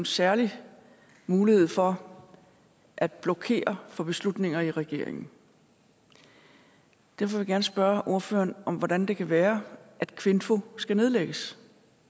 særlig mulighed for at blokere for beslutninger i regeringen derfor vil jeg gerne spørge ordføreren om hvordan det kan være at kvinfo skal nedlægges